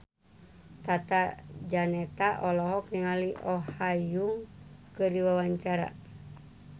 Tata Janeta olohok ningali Oh Ha Young keur diwawancara